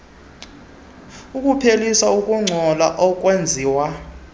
ukuphelisa ukungcola okwenziwa